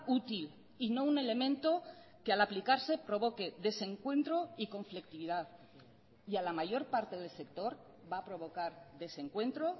útil y no un elemento que al aplicarse provoque desencuentro y conflictividad y a la mayor parte del sector va a provocar desencuentro